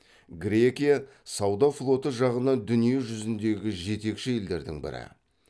грекия сауда флоты жағынан дүние жүзіндегі жетекші елдердің бірі